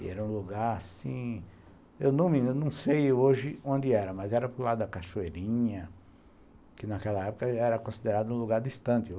E era um lugar assim... Eu não sei hoje onde era, mas era para o lado da Cachoeirinha, que naquela época era considerado um lugar distante.